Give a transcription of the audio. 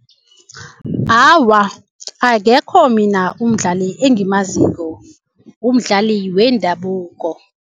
Awa akekho mina umdlali engimaziko umdlali wendabuko.